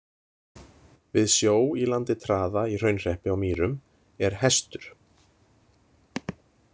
Við sjó í landi Traða í Hraunhreppi á Mýrum er Hestur.